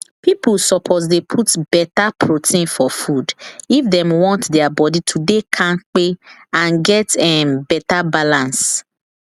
people suppose dey put better protein for food if dem want their body to dey kampe and get um better balance